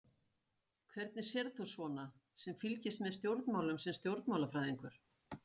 Hvernig sérð þú svona sem fylgist með stjórnmálum sem stjórnmálafræðingur?